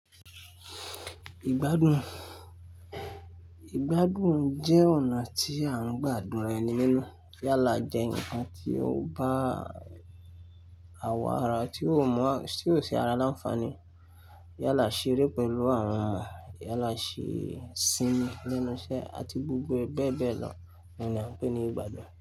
Ìgbádùn. Ìgbádùn jẹ́ ọ̀nà tí a ń gbà dùnra ẹni nínú. Yálà jẹ́ ǹkan tí ó bá àwọ̀ ara tí ó mọ́, tí ó ṣe ara láńfààní. Yálà ṣeré pẹ̀lú àwọn yálà, ṣí sinu lẹ́nu iṣẹ́ àti gbogbo ẹ beẹ́ bẹ́ẹ̀ lọ ni a ń pè ní ìgbádùn.